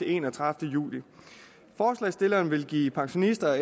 enogtredivete juli forslagsstillerne vil give pensionister